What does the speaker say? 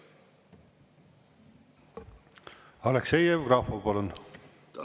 Aleksei Jevgrafov, palun!